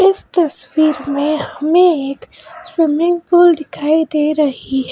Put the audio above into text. इस तस्वीर में हमें एक स्विमिंग पूल दिखाई दे रही है।